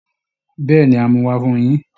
Bẹ́ẹ̀ ni, á mú un wá Fun yín